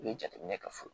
U bɛ jateminɛ kɛ fɔlɔ